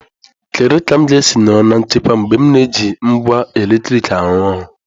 Kedu ka m ga-esi nọrọ na nchekwa mgbe m na-eji ngwa eletrik arụ ọrụ?